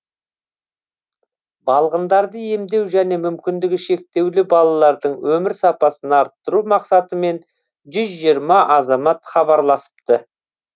балғындарды емдеу және мүмкіндігі шектеулі балалардың өмір сапасын арттыру мақсатымен жүз жиырма азамат хабарласыпты